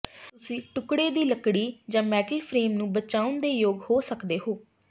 ਤੁਸੀਂ ਟੁਕੜੇ ਦੀ ਲੱਕੜੀ ਜਾਂ ਮੈਟਲ ਫਰੇਮ ਨੂੰ ਬਚਾਉਣ ਦੇ ਯੋਗ ਹੋ ਸਕਦੇ ਹੋ